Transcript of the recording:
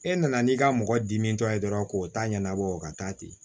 E nana n'i ka mɔgɔ dimi tɔ ye dɔrɔn k'o ta ɲɛnabɔ o ka taa ten